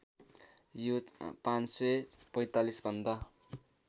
यो ५४५ भन्दा